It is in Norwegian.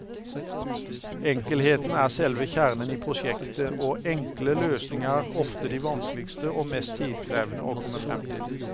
Enkelheten er selve kjernen i prosjektet, og enkle løsninger er ofte de vanskeligste og mest tidkrevende å komme frem til.